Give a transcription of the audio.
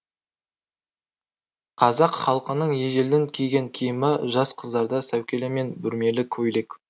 қазақ халқының ежелден киген киімі жас қыздарда сәукеле мен бүрмелі көйлек